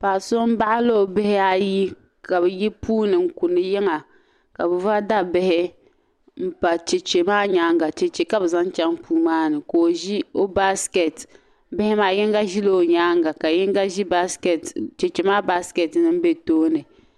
Paɣ'so n-baɣili o bihi ayi ka be yi puuni n-kuni yiŋa ka be vaai da bihi m-pa cheche maa nyaaŋa cheche ka be zaŋ chaŋ puu maa ni ka o ʒi o "basket" bihi maa yiŋga ʒila o nyaaŋa ka yiŋga ʒi cheche maa "basket" din be tooni.